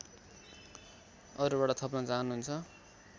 अरूबाट थप्न चाहनुहुन्छ